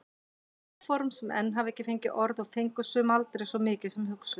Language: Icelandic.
Áform sem enn hafa ekki fengið orð og fengu sum aldrei svo mikið sem hugsun.